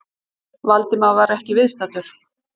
Valdimar var ekki viðstaddur